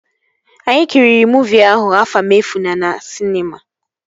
Anyị kiriri muuvi ahụ, Afamefuna na sịnema